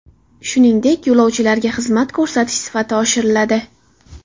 Shuningdek, yo‘lovchilarga xizmat ko‘rsatish sifati oshiriladi.